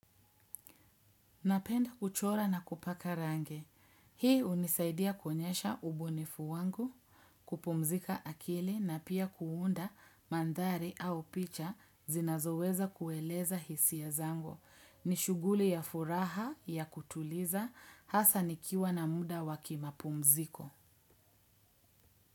Napenda kuchora na kupaka rangi. Hii hunisaidia kuonyesha ubunifu wangu, kupumzika akili na pia kuunda mandhari au picha zinazoweza kueleza hisia ya zangu. Ni shuguli ya furaha ya kutuliza hasa nikiwa na muda wa kimapumziko.